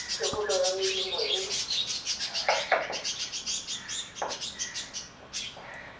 thebolo ya melemo e e